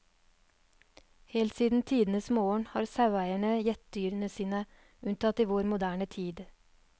Helt siden tidenes morgen har saueeierne gjett dyrene sine, unntatt i vår moderne tid.